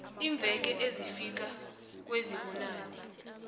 iimveke ezifika kwezibunane